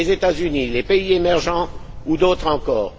Les États Unis, les pays émergents ou d'autres encore?